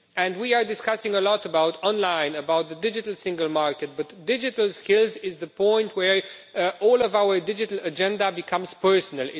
We are discussing a lot about online and about the digital single market, but digital skills are the point where our whole digital agenda becomes personal.